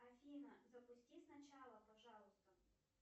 афина запусти с начала пожалуйста